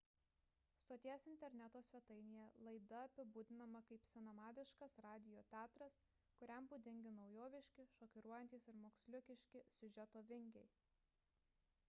stoties interneto svetainėje laida apibūdinama kaip senamadiškas radijo teatras kuriam būdingi naujoviški šokiruojantys ir moksliukiški siužeto vingiai